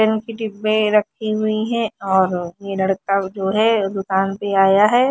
रखी हुई हैं और ये लड़का जो हैं दूकान पे आया हैं।